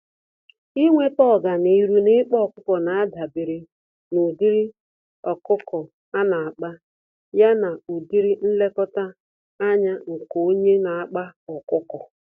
Ịnweta ọganihu n'ịkpa ọkụkọ, nadabere n'ụdịrị ọkụkọ ana-akpa, ya na ụdịrị nlekọta ányá nke onye n'akpa ọkụkọ.